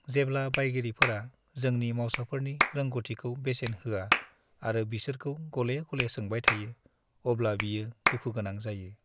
जेब्ला बायगिरिफोरा जोंनि मावसाफोरनि रोंग'थिखौ बेसेन होआ आरो बिसोरखौ गले-गले सोंबाय थायो, अब्ला बियो दुखु गोनां जायो।